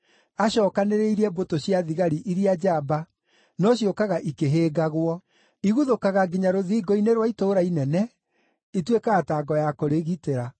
Acookanĩrĩirie mbũtũ cia thigari iria njamba, no ciũkaga ikĩhĩngagwo. Iguthũkaga nginya rũthingo-inĩ rwa itũũra inene; ituĩkaga ta ngo ya kũrĩgitĩra.